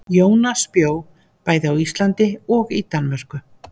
Jónas bjó bæði á Íslandi og í Danmörku.